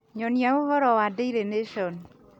nyonia ũhoro wa Daily Nation